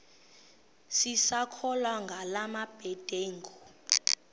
sisakholwa ngala mabedengu